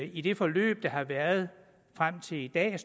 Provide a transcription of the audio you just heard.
i det forløb der har været frem til i dag er